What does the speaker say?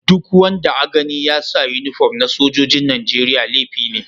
Duk wanda a gani ya sa uniform na sojoji'n Nijeriya laifi ne.